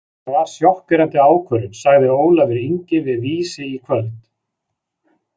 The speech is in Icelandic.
Það var sjokkerandi ákvörðun, sagði Ólafur Ingi við Vísi í kvöld.